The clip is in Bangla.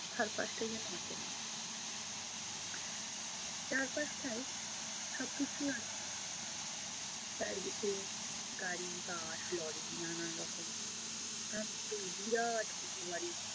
চারপাশটাই যেনো অচেনা। চারপাশটায় সবকিছু আছে, চারিদিকে গাড়ি, বাস, লরি নানা রকম। এতো বিরাট কিছু বাড়ি!